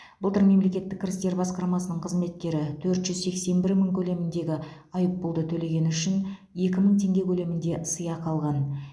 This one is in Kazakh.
былтыр мемлекеттік кірістер басқармасының қызметкері төрт жүз сексен бір мың көлеміндегі айыппұлды төлегені үшін екі мың теңге көлемінде сыйақы алған